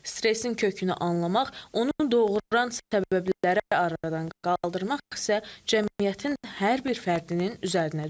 Stressin kökünü anlamaq, onu doğuran səbəbləri aradan qaldırmaq isə cəmiyyətin hər bir fərdinin üzərinə düşür.